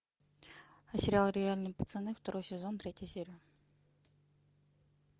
сериал реальные пацаны второй сезон третья серия